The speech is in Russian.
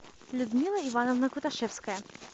людмила ивановна куташевская